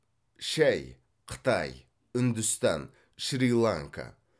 шай қытай үндістан шри ланка